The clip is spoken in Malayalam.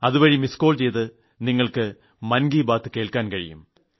അതുവഴി മിസ്ഡ് കോൾ ചെയ്ത് മൻ കി ബാത്ത് ശ്രവിക്കാൻ കഴിയും